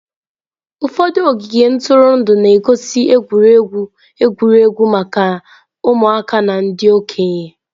Ụfọdụ ogige ntụrụndụ na-egosi egwuregwu egwuregwu maka ụmụaka na ndị okenye.